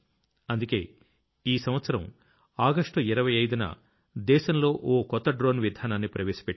అందుకే ఈ సంవత్సరం ఆగస్ట్ 25న దేశంలో ఓA కొత్త డ్రోన్ విధానాన్ని ప్రవేశపెట్టాం